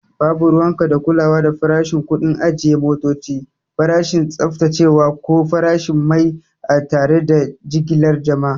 Babu ruwanka da kulawa farashin, kuɗin ajiye motoci, farashin tsaftacewa, ko farashin mai a tare da jigilar jama'